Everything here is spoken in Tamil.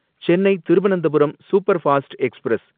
Chennai Thiruvananthapuram superfast express